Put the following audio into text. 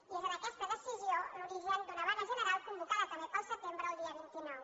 i és en aquesta decisió l’origen d’una vaga general convocada també per al setembre el dia vint nou